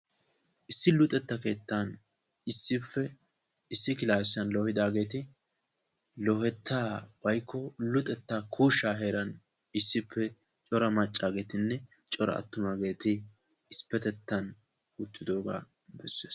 Issi luxetta keettan issippe issi klassiyan loohidaageeti, loohetta woykko luxettakko kushsha heeran issippe cora maccageetinne cora attumaageeti issipetettan uttidooga bessees.